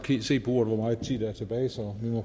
se på uret